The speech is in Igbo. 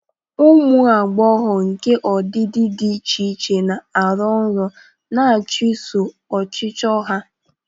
Ụmụ agbọghọ nke ọdịdị dị iche iche na-arọ nrọ, na-achụso ọchịchọ ha.